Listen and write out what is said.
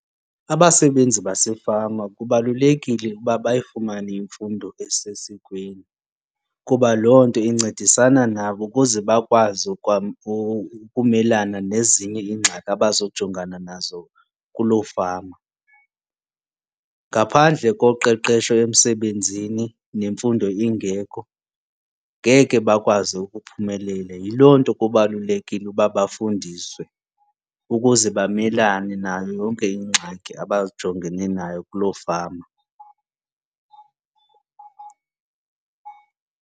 Abasebenzi basefama kubalulekile uba bayifumane imfundo esesikweni kuba loo nto incedisana nabo ukuze bakwazi ukumelana nezinye iingxaki abazawujongana nazo kuloo fama. Ngaphandle koqeqesho emsebenzini nemfundo ingekho ngeke bakwazi ukuphumelela. Yiloo nto kubalulekile ukuba bafundiswe ukuze bamelane nayo yonke iingxaki abajongene nayo kuloo fama.